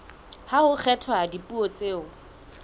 ha ho kgethwa dipuo tseo